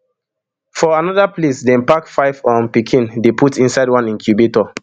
for anoda place dem pack five um pikin put inside one incubator